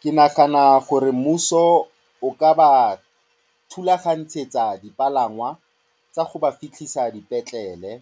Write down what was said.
Ke nagana gore mmuso o ka ba rulaganyetsa dipalangwa tsa go ba fitlhisa dipetlele.